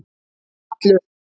Hallur